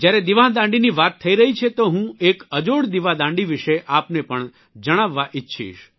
જયારે દિવાદાંડીની વાત થઇ રહી છે તો હું એક અજોડ દિવાદાંડી વિષે આપને પણ જણાવવા ઇચ્છીશ